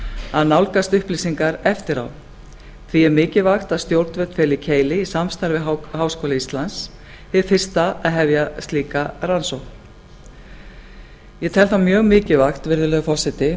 að nálgast upplýsingar eftir á því er mikilvægt að stjórnvöld telji keili í samstarfi við háskóla íslands hið fyrsta að hefja slíka rannsókn ég tel það mjög mikilvægt virðulegi forseti